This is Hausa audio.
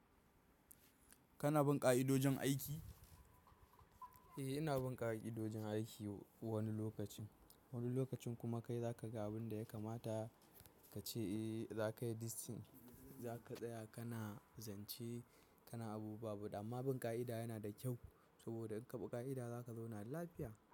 Kana bin ƙa'idojin aiki? Eh, ina bin ƙa'idojin aiki wani lokacin. Wani lokacin kuma kai za ka ga abin da ya kamata ka ce eh za ka yi this thing, za ka tsaya kana zance kana abu buwa. Amma bin ƙa'ida yana da kyau saboda in ka bi ƙa'ida za ka zauna da lafiya.